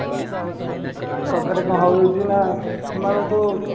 ତାଙ୍କ ଫେରେ କଣ ହଉଚି ନା ସେମାନଙ୍କୁ